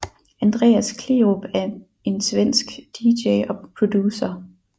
Andreas Kleerup er en svenske DJ og producer